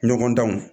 Ɲɔgɔn danw